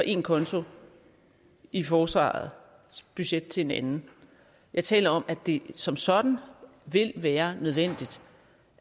en konto i forsvarets budget til en anden jeg taler om at det som sådan vil være nødvendigt